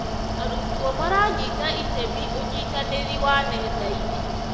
Arutwo maranyita itemi ũnyitanĩri wa nenda-inĩ.